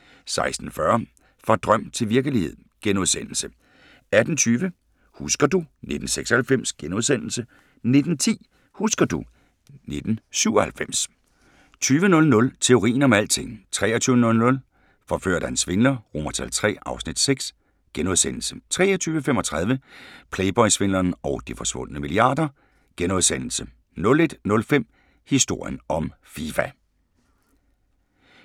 16:40: Fra drøm til virkelighed * 18:20: Husker du ... 1996 * 19:10: Husker du ... 1997 20:00: Teorien om alting 23:00: Forført af en svindler III (Afs. 6)* 23:35: Playboy-svindleren og de forsvundne milliarder * 01:05: Historien om Fifa